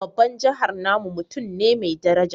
Babban Janar namu mutum ne mai dabara